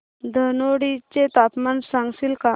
धनोडी चे तापमान सांगशील का